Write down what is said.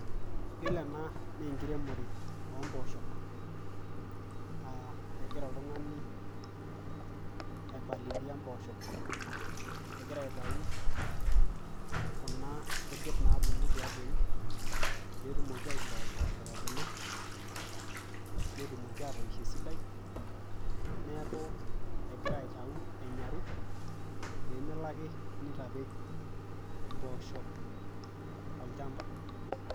yiolo ena naa enkiremore omposhok auh, egira oltung'ani aipalilia mposhok egira aitau kuna kujit nabulu tiabori petumoki aishoo mposhok ebulu netumoki atoisho esidai neeku egira aitau enyaru pemelo ake nitapej imposhok tolchamba.